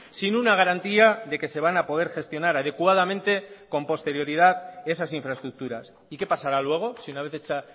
sin una garantía de que se van a poder gestionar adecuadamente con posterioridad esas infraestructuras y qué pasará luego si una vez hecha